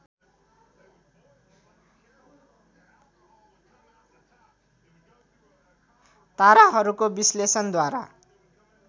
ताराहरूको विश्लेषणद्वारा